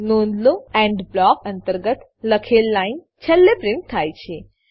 નોંધ લો end block અંતર્ગત લખેલ લાઈન છેલ્લે પ્રીંટ થાય છે